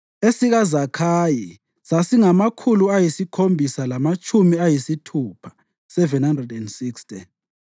esikaZakhayi sasingamakhulu ayisikhombisa lamatshumi ayisithupha (760),